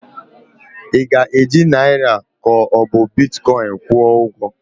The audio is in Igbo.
Ị ga-eji naịra ka ọ bụ Bitkọin kwụọ ụgwọ?